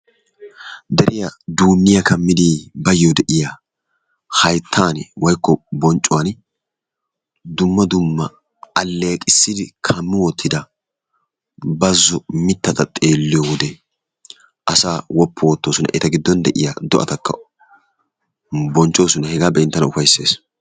Deriya duunniya kammidi baayyo de'iya hayttan/bonccuwan dumma dumma alleeqissi kammi wottida bazzo mittata xeelliyo wode asaa woppu oottoosona. A giddon de'iya do'atakka bonchchoosona. Hegaa be'in tana ufayssees.